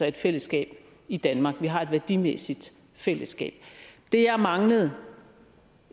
et fællesskab i danmark vi har et værdimæssigt fællesskab det jeg manglede